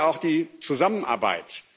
Wir brauchen ja auch die Zusammenarbeit.